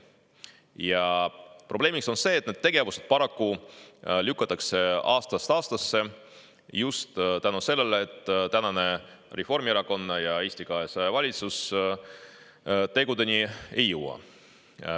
Ja probleemiks on see, et need tegevused paraku lükatakse aastast aastasse just selle tõttu, et tänane Reformierakonna ja Eesti 200 valitsus tegudeni ei jõua.